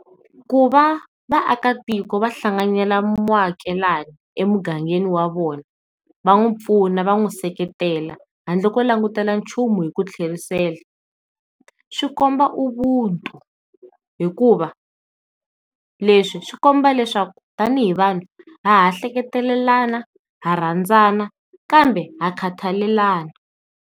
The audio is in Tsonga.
Ku va vaakatiko va hlanganela muakelani emugangeni wa vona va n'wi pfuna va n'wi seketela handle ko langutela nchumu hi ku tlherisela. Swikomba Ubuntu hikuva leswi swi komba leswaku tanihi vanhu ha ha hleketelelana ha rhandzana kambe ha khathalelana.